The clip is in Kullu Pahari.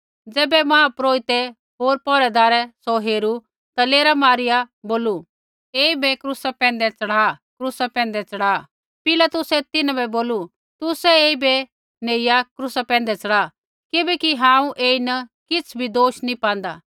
ज़ैबै मुख्यपुरोहिते होर पौहरैदारै सौ हेरू ता लेरा पाईआ बोलू ऐईबै क्रूसा पैंधै चढ़ा क्रूसा पैंधै पिलातुसै तिन्हां बै बोलू तुसै ऐईबै नेइया क्रूसा पैंधै च़ढ़ा किबैकि हांऊँ ऐईन किछ़ भी दोष नैंई पांदा